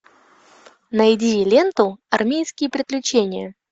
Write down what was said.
найди ленту армейские приключения